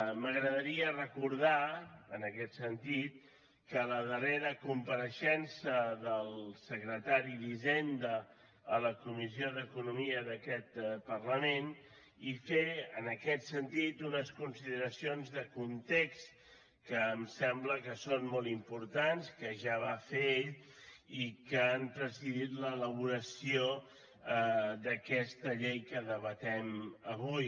m’agradaria recordar en aquest sentit la darrera compareixença del secretari d’hisenda a la comissió d’economia d’aquest parlament i fer en aquest sentit unes consideracions de context que em sembla que són molt importants que ja va fer ell i que han presidit l’elaboració d’aquesta llei que debatem avui